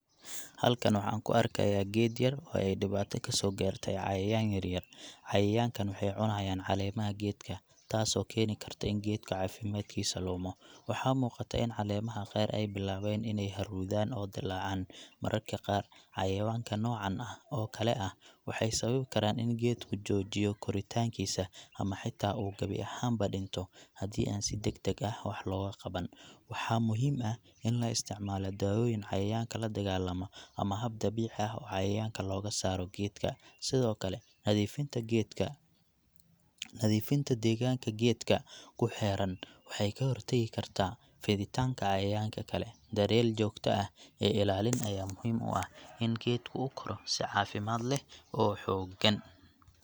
Halkan waxaan ku arkayaa geed yar oo ay dhibaato kasoo gaartay cayayaan yaryar. Cayayaankan waxay cunayaan caleemaha geedka, taasoo keeni karta in geedka caafimaadkiisa lumo. Waxaa muuqata in caleemaha qaar ay bilaabeen inay huruudaan oo dilaacaan. Mararka qaar, cayayaanka noocan ah oo kale ah waxay sababi karaan in geedku joojiyo koritaankiisa, ama xitaa uu gebi ahaanba dhinto haddii aan si degdeg ah wax looga qaban. Waxaa muhiim ah in la isticmaalo daawooyin cayayaanka la dagaallama, ama hab dabiici ah oo cayayaanka looga saaro geedka. Sidoo kale, nadiifinta geedka , nadiifinta deegaanka geedka ku xeeran waxay ka hortagi kartaa fiditaanka cayayaanka kale. Daryeel joogto ah iyo ilaalin ayaa muhiim u ah si geedku u koro si caafimaad leh oo xooggan.